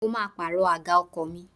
Mo máa pàrọ̀ àga ọkọ̀ mi.